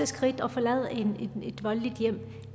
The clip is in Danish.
skridt og forlade et voldeligt hjem